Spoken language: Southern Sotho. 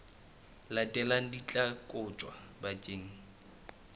latelang di tla kotjwa bakeng